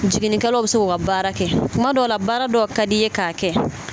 Jigini kɛlaw bɛ se k'u ka baara kɛ kuma dɔw la baara dɔ ka d'i ye k'a kɛ.